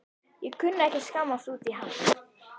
Ég kunni ekki að skammast út í hana.